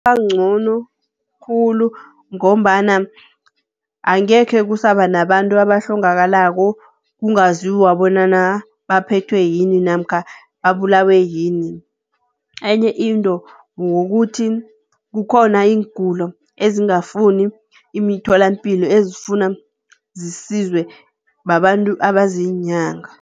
Kungabancono khulu ngombana angekhe kusaba nabantu abahlongakalako kungaziwa bonyana baphethwe yini? Namkha babulawe yini? Enye into wokuthi kukhona iingulo ezingafuni imitholampilo ezifuna zisizwe babantu abaziinyanga.